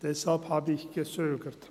Deshalb habe ich gezögert.